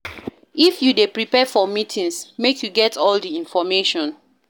If you dey prepare for meetings, make you get all di information.